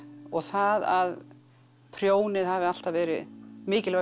og það að prjónið hafi alltaf verið mikilvæg